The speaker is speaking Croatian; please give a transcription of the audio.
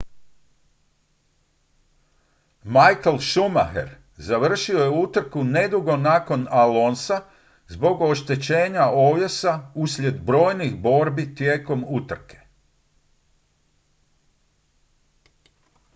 michael schumacher završio je utrku nedugo nakon alonsa zbog oštećenja ovjesa uslijed brojnih borbi tijekom utrke